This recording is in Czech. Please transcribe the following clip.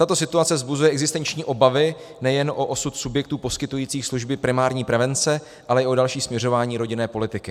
Tato situace vzbuzuje existenční obavy nejen o osud subjektů poskytujících služby primární prevence, ale i o další směřování rodinné politiky.